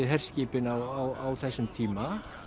herskipin á þessum tíma